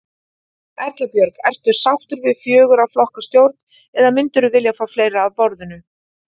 Erla Björg: Ertu sáttur við fjögurra flokka stjórn eða myndirðu vilja fá fleiri að borðinu?